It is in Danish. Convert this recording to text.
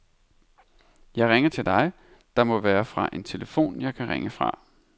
Jeg ringer til dig, der må være en telefon jeg kan ringe fra.